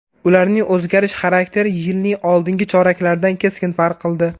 Ularning o‘zgarish xarakteri yilning oldingi choraklaridan keskin farq qildi.